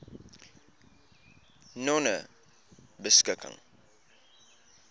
nonebeskikking